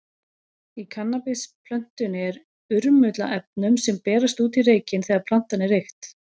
Í kannabisplöntunni er urmull af efnum, sem berast út í reykinn þegar plantan er reykt.